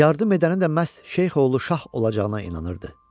Yardım edəni də məhz Şeyx oğlu Şah olacağına inanırdı.